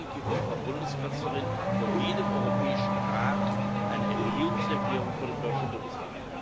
In Deutschland gibt die Frau Bundeskanzlerin vor jedem Europäischen Rat eine Regierungserklärung vor dem Deutschen Bundestag ab.